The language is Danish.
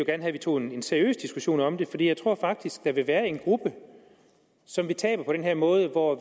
at vi tog en seriøs diskussion om det fordi jeg tror faktisk at der vil være en gruppe som vi taber på den her måde hvor